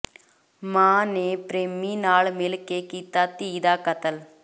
ਮਾਂ ਨੇ ਪ੍ਰੇਮੀ ਨਾਲ ਮਿਲ ਕੇ ਕੀਤਾ ਧੀ ਦਾ ਕਤਲ